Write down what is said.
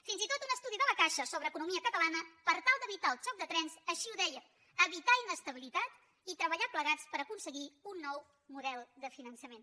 fins i tot un estudi de la caixa sobre economia catalana per tal d’evitar el xoc de trens així ho deia evitar inestabilitat i treballar plegats per aconseguir un nou model de finançament